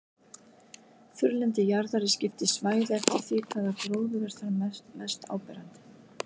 Þurrlendi jarðar er skipt í svæði eftir því hvaða gróður er þar mest áberandi.